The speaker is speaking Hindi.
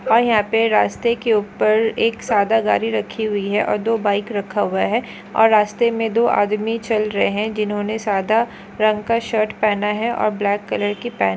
आई हैपे रास्ते के ऊपर एक सादा गाड़ी रखी हुई है और दो बाइक रखा हुआ है। और रास्ते में दो आदमी चल रहै हैं जिन्होंने सदा रंग का शर्ट पहना है और ब्लैक कलर की पेंट ।